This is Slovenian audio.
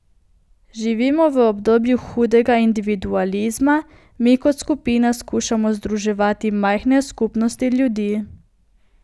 Živimo v obdobju hudega individualizma, mi kot skupina skušamo združevati majhne skupnosti ljudi.